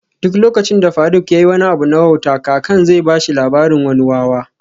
Duk lokacin da faruk yayi wani abu na wauta kakan zai bashi labarin wani wawa